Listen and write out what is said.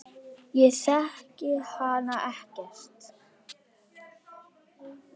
Ég þekki hana ekkert.